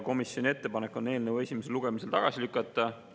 Komisjoni ettepanek on eelnõu esimesel lugemisel tagasi lükata.